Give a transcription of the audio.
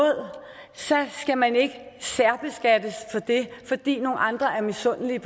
så skal man ikke særbeskattes af det fordi nogle andre er misundelige